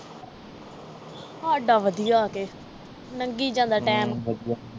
ਹਾਡਾ ਵਧੀਆ ਕੇ ਲੰਘੀ ਜਾਂਦਾ ਟਾਈਮ ਹਮ ਵਧੀਆ